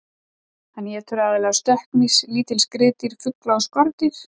Hann étur aðallega stökkmýs, lítil skriðdýr, fugla og skordýr.